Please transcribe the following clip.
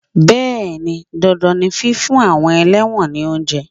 Bẹẹni, dandan ni fífún àwọn ẹlẹ́wọ̀n ni oúnjẹ.